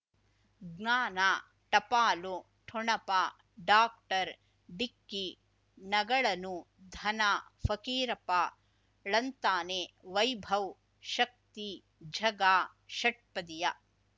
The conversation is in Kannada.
ಜ್ಞಾನ ಟಪಾಲು ಠೊಣಪ ಡಾಕ್ಟರ್ ಢಿಕ್ಕಿ ಣಗಳನು ಧನ ಫಕೀರಪ್ಪ ಳಂತಾನೆ ವೈಭವ್ ಶಕ್ತಿ ಝಗಾ ಷಟ್ಪದಿಯ